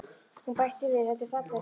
Hún bætti við: Þetta er falleg saga.